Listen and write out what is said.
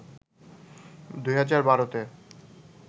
২০১২ তে